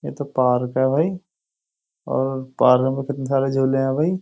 ये तो पार्क है भाई और पार्क में कितने सारे झूले हैं भाई।